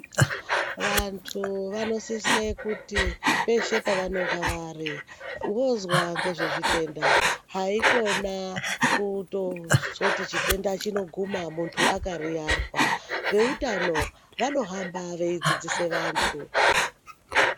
Vantu vanosise kuti peshe pevanonga vari voudzwa ngezvezvitenda. Haikhona kutozoti chitenda chinoguma muntu akariyarwa. Veutano vanohamba veidzidzise vantu.